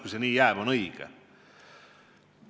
Kui see nii jääb, siis see on õige.